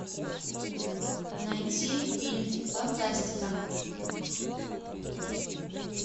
найти фильм фантастика